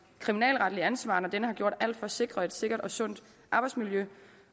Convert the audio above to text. kriminalretlige ansvar når denne har gjort alt for at sikre et sikkert og sundt arbejdsmiljø